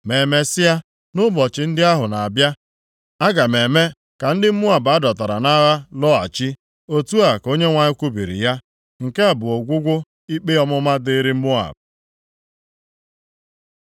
“Ma emesịa, nʼụbọchị ndị ahụ na-abịa, aga m eme ka ndị Moab a dọtara nʼagha lọghachi.” Otu a ka Onyenwe anyị kwubiri ya. Nke a bụ ọgwụgwụ ikpe ọmụma dịrị Moab.